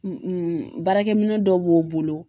baarakɛminɛn dɔw b'o bolo